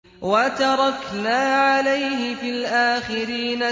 وَتَرَكْنَا عَلَيْهِ فِي الْآخِرِينَ